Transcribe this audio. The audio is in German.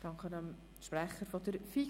Ich danke dem Sprecher der FiKo.